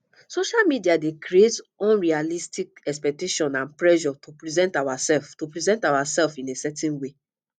social media dey create unrealistic expectations and pressure to present ourselves to present ourselves in a certain way